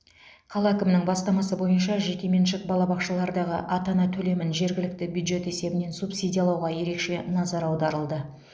қала әкімінің бастамасы бойынша жеке меншік балабақшалардағы ата ана төлемін жергілікті бюджет есебінен субсидиялауға ерекше назар аударылды